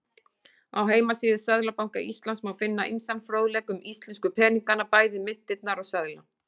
Á heimasíðu Seðlabanka Íslands má finna ýmsan fróðleik um íslensku peningana, bæði myntirnar og seðla.